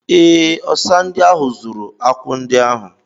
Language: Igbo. Ee, ọsa ahụ zuru akwụ ndị ahụ.